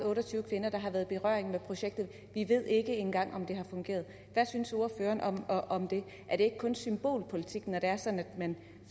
otte og tyve kvinder der har været i berøring med projektet vi ved ikke engang om det har fungeret hvad synes ordføreren om om det er det ikke kun symbolpolitik når det er sådan